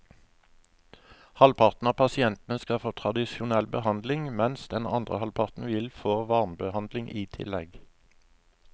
Halvparten av pasientene skal få tradisjonell behandling, mens den andre halvparten vil få varmebehandling i tillegg.